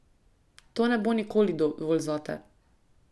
To ne bo nikoli dovolj zate.